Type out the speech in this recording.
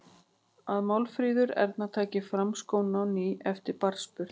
Að Málfríður Erna taki fram skóna á ný eftir barnsburð.